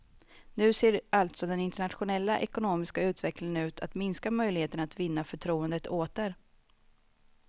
Nu ser alltså den internationella ekonomiska utvecklingen ut att minska möjligheterna att vinna förtroendet åter.